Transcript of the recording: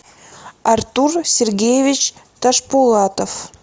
артур сергеевич ташпулатов